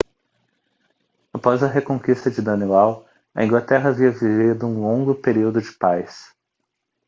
após a reconquista de danelaw a inglaterra havia vivido um longo período de paz